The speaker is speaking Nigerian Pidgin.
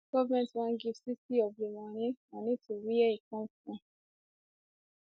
goment wan give 60 of di money money to wia e come from